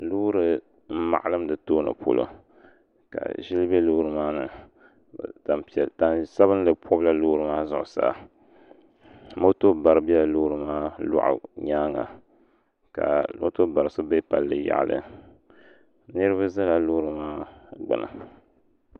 Loori n maɣalim di tooni polo ka ʒili bɛ loori maa ni tani sabinli pobila loori maa zuɣusaa moto bari biɛla loori maa loɣu nyaanga ka moto bari so bɛ palli yaɣali niraba ʒɛla loori maa gbuni